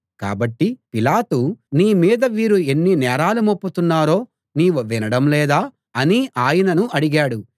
కాబట్టి పిలాతు నీ మీద వీరు ఎన్ని నేరాలు మోపుతున్నారో నీవు వినడం లేదా అని ఆయనను అడిగాడు